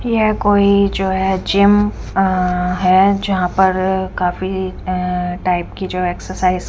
यह कोई जो है जिम अं है जहां पर अ काफी अं टाइप की जो एक्सरसाइज --